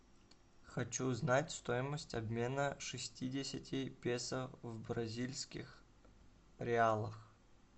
хочу узнать стоимость обмена шестидесяти песо в бразильских реалах